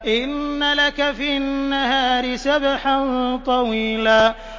إِنَّ لَكَ فِي النَّهَارِ سَبْحًا طَوِيلًا